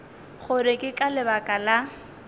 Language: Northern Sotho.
gore ke ka lebaka la